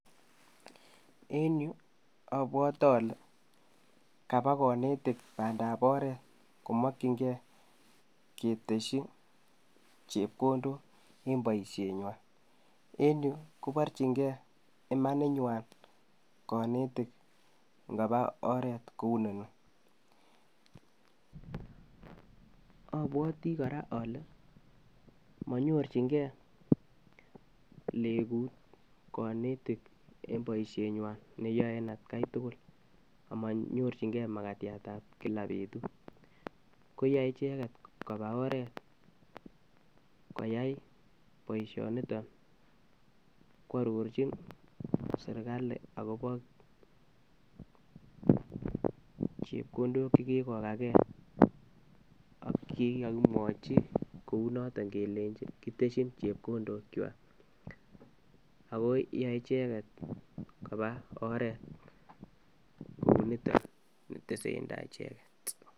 En yuu obwote olee kabaa oknetik bandab oreet, komokying'e ketesyi chepkondok en boishenywan, en yuu koborchinge imaninywan konetik ng'oba oreet kouu inoni, obwotii kora olee, monyorchinkee legut konetik en boishenywan neyoe en atkai tukul akomanyorching'e makatiatab kilaa betut, koyai icheket kobaa oret koyai boishoniton kwororchin serikali akobo chepkondok chekikokakee ak chekikokimwochi kounoton kelenchi kitesyin chepkondokwak, akoo yoee icheket koba oreet niton nitesentai icheket.